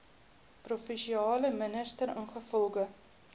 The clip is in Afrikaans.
provinsiale minister ingevolge